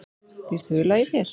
Býr ÞULA í þér?